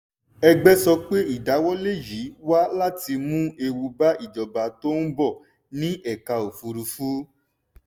ẹgbẹ́ sọ pé ìdáwọ́lé yìí wá láti mú ewu bá ìjọba tó ń bọ̀ ní ẹ̀ka òfùrúfú.